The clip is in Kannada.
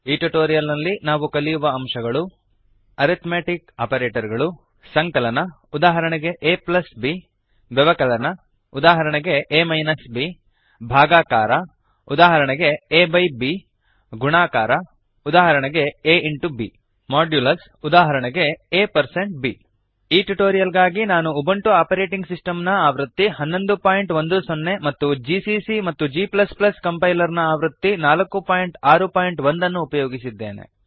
ಈ ಟ್ಯುಟೋರಿಯಲ್ ನಲ್ಲಿ ನಾವು ಕಲಿಯುವ ಅಂಶಗಳು ಅರಿಥ್ಮೆಟಿಕ್ ಆಪರೇಟರ್ ಗಳು160 ಸಂಕಲನ ಉದಾಹರಣೆಗೆ ab ವ್ಯವಕಲನ ಉದಾಹರಣೆಗೆ a ಬ್ ಭಾಗಾಕಾರ ಉದಾಹರಣೆಗೆ160 aಬೈb ಗುಣಾಕಾರ ಉದಾಹರಣೆಗೆ a ಇಂಟು b ಮಾಡ್ಯೂಲಸ್ಉದಾಹರಣೆಗೆ a ಪರ್ಸೆಂಟ್ b ಈ ಟ್ಯುಟೋರಿಯಲ್ ಗಾಗಿ ನಾನು ಉಬುಂಟು ಆಪರೇಟಿಂಗ್ ಸಿಸ್ಟಮ್ನ ಆವೃತ್ತಿ 1110 ಮತ್ತು ಜಿಸಿಸಿ ಮತ್ತು g ಕಂಪೈಲರ್ನ ಆವೃತ್ತಿ 461 ಅನ್ನುಉಪಯೋಗಿಸಿದ್ದೇನೆ